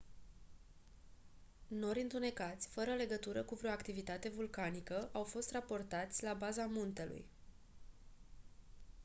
nori întunecați fără legătură cu vreo activitate vulcanică au fost raportați la baza muntelui